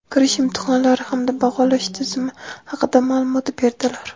kirish imtihonlari hamda baholash tizimi haqida ma’lumot berdilar.